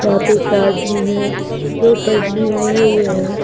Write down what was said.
यहां पे एक आदमी है जो पन्नी ओढ़े हुए हैं।